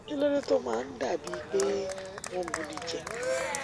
kílódé tó máa ń dà bí i pé wọn bu ni jẹ